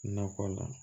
Nakɔ la